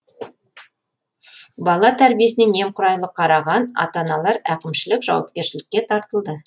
бала тәрбиесіне немқұрайлы қараған ата аналар әкімшілік жауапкершілікке тартылды